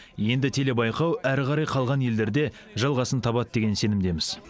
енді телебайқау әрі қарай қалған елдерде жалғасын табады деген сенімдеміз